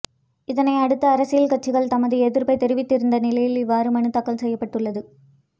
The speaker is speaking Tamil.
இதனை அடுத்து அரசியல் கட்சிகள் தமது எதிர்ப்பை தெரிவித்திருந்த நிலையில் இவ்வாறு மனுத் தாக்கல் செய்யப்பட்டுள்ளது